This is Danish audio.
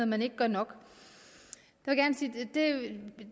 man ikke gør nok er at